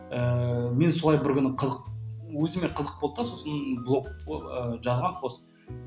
ыыы мен солай бір күні қызық өзіме қызық болды да сосын болг ыыы жазғамын пост